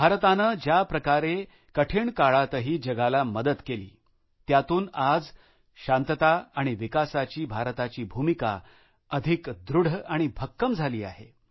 भारताने ज्या प्रकारे या कठीण काळातही जगाला मदत केली त्यातून आज शांतता आणि विकासाची भारताची भूमिका अधिक दृढ आणि भक्कम झाली आहे